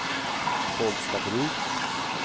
Bollstabruk